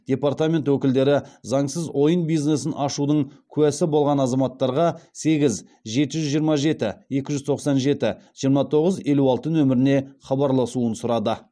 департамент өкілдері заңсыз ойын бизнесін ашудың куәсі болған азаматтарға сегіз жеті жүз жиырма жеті екі жүз тоқсан жеті жиырма тоғыз елу алты нөміріне хабарласуын сұрады